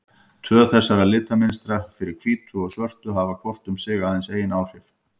Tvö þessara litamynstra, fyrir hvítu og svörtu, hafa hvort um sig aðeins ein áhrif.